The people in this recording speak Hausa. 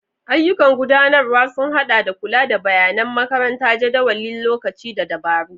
Ayyukan gudanarwa sun haɗa da kula da bayanan makaranta, jadawalin lokaci, da dabaru.